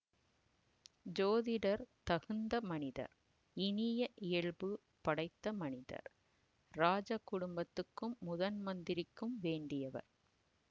ஜோதிடர் தகுந்த மனிதர் இனிய இயல்பு படைத்த மனிதர் இராஜ குடும்பத்துக்கும் முதன் மந்திரிக்கும் வேண்டியவர்